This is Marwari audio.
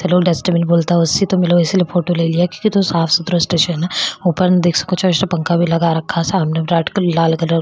डस्टबिन बोलता सी तो इसलिए फोटो ले लिया कितनो साफ सुथरा स्टेशन है ऊपर देख सको पंखा भी लगा रखो सामने रेड कलर लाल कलर --